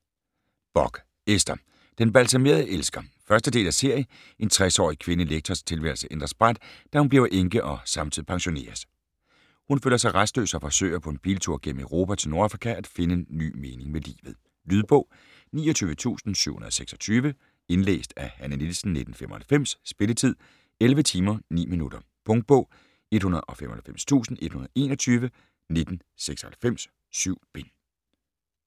Bock, Ester: Den balsamerede elsker 1. del af serie. En 60-årig kvindelig lektors tilværelse ændres brat, da hun bliver enke og samtidig pensioneres. Hun føler sig rastløs og forsøger på en biltur gennem Europa til Nordafrika at finde ny mening med livet. Lydbog 29726 Indlæst af Hanne Nielsen, 1995. Spilletid: 11 timer, 9 minutter. Punktbog 195121 1996. 7 bind.